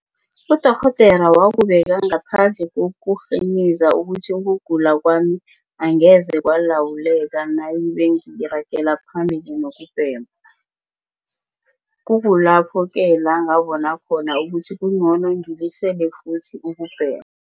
Udorhodere wakubeka ngaphandle kokurhiniza ukuthi ukugula kwami angeze kwalawuleka nayibe ngiragela phambili nokubhema. Kukulapho-ke la ngabona khona ukuthi kungcono ngilisele futhi ukubhema.